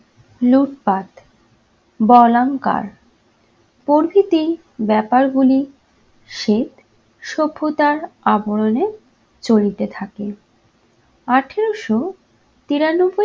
লুটপাট, বলাঙ্কার প্রভৃতি ব্যাপারগুলি শ্বেত সভ্যতার আবরণে চলিতে থাকে। আঠেরোশো তিরানব্বই